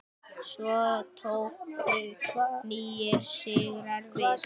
Svo tóku nýir sigrar við.